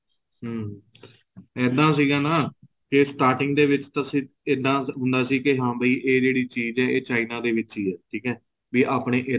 ਹਮ ਏਦਾ ਸੀਗਾ ਨਾ ਕੇ starting ਦੇ ਵਿੱਚ ਤੁਸੀਂ ਏਦਾ ਹੁੰਦਾ ਸੀ ਕੇ ਹਾਂ ਭੀ ਇਹ ਜਿਹੜੀ ਚੀਜ ਹੈ ਇਹ china ਦੇ ਵਿੱਚ ਹੀ ਹੈ ਠੀਕ ਹੈ ਵੀ ਆਪਣੇ ਏਧਰ